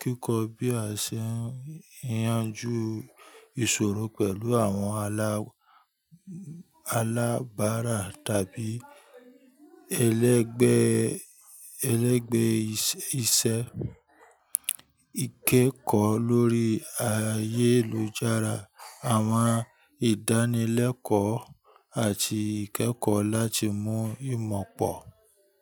kíkọ́ bí a ṣe ń yanjú ìṣòro pẹ̀lú àwọn alábárà tàbí ẹlẹ́gbẹ́ iṣẹ́, ìkẹ́kọ̀ọ́ lórí ayélujára, àwọn ìdánilẹ́kọ̀ọ́ àti ìkẹ́kọ̀ọ́ láti mú ìmọ̀ pọ̀.